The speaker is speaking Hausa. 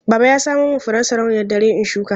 Baba ya samo min furen sarauniyar dare in shuka.